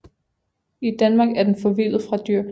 I Danmark er den forvildet fra dyrkning